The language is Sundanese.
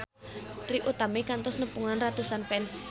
Trie Utami kantos nepungan ratusan fans